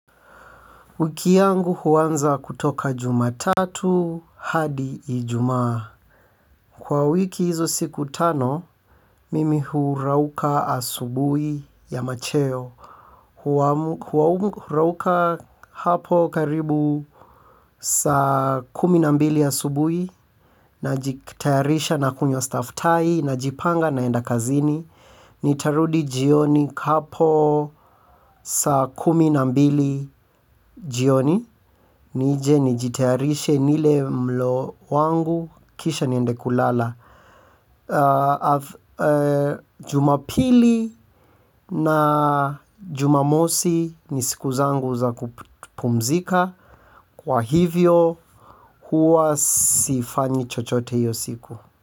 Wiki yangu huanza kutoka Jumatatu hadi Ijumaa. Kwa wiki hizo siku tano, mimi hurauka asubuhi ya macheo. Hurauka hapo karibu saa kumi na mbili asubuhi najitayarisha nakunywa staftahi najipanga naenda kazini nitarudi jioni hapo saa kumi na mbili jioni. Nije nijitayarishe nile mlo wangu kisha niende kulala. Jumapili na Jumamosi ni siku zangu za kupumzika. Kwa hivyo huwa sifanyi chochote hiyo siku.